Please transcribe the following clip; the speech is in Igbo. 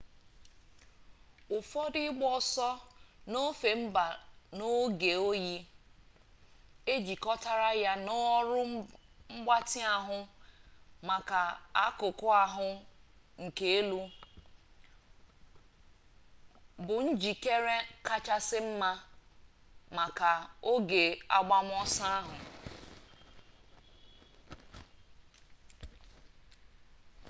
ụfọdụ ịgba ọsọ n'ofe mba n'oge oyi ejikọtara ya na ọrụ mgbatị ahụ maka akụkụ ahụ nke elu bụ njikere kachasị mma maka oge agbamọsọ ahụ